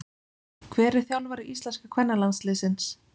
Hver er þjálfari íslenska kvennalandsliðsins?